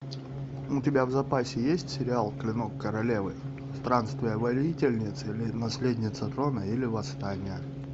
у тебя в запасе есть сериал клинок королевы странствия воительницы или наследница трона или восстание